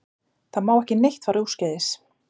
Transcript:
Það má ekki neitt fara úrskeiðis